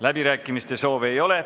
Läbirääkimiste soovi ei ole.